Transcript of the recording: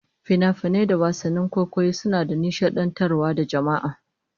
Finafinai da wasannin kwaikwayo suna nishadantar da jama'a